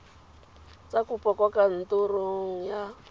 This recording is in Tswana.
tsa kopo kwa kantorong ya